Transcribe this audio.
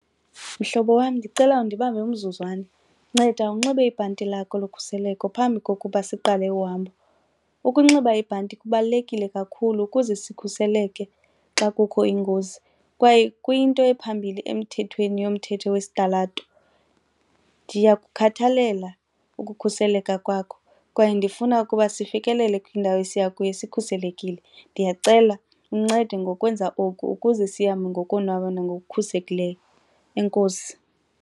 Mhlobo wam, ndicela undibambe umzuzwana, nceda unxibe ibhanti lakho lokhuseleko phambi kokuba siqale uhambo. Ukunxiba ibhanti kubalulekile kakhulu ukuze sikhuseleke xa kukho ingozi kwaye kuyinto ephambili emthethweni yomthetho wesitalato. Ndiyakukhathalela ukukhuseleka kwakho kwaye ndifuna ukuba sifikelele kwindawo esiya kuyo sikhuselekile. Ndiyacela uncede ngokwenza oku ukuze sihambe ngokonwaba nangokukhuselekileyo enkosi.